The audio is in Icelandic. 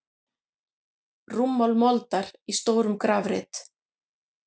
Rúmmál moldar í stórum grafreit.